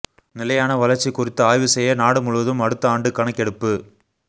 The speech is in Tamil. நிலையான வளர்ச்சி குறித்து ஆய்வு செய்ய நாடு முழுவதும் அடுத்த ஆண்டு கணக்கெடுப்பு